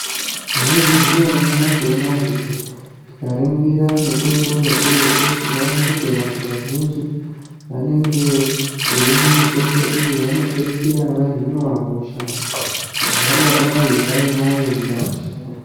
Maizviziva here nyamashi unoyu kuti tikaringira mitombo mukurutu tinoona kuti vandu vazhinji vanenge vachimwa mitombo iyi vanopedzisira vahinwa hosha vangadai vaiinayo mundaramo yavo